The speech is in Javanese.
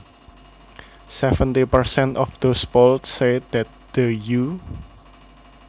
Seventy percent of those polled said that the U